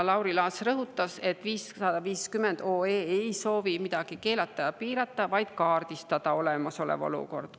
Lauri Laats rõhutas, et eelnõu 550 ei soovi midagi keelata ega piirata, vaid kaardistada olemasolevat olukorda.